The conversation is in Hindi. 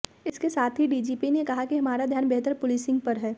इसके साथ ही डीजीपी ने कहा कि हमारा ध्यान बेहतर पुलिसिंग पर है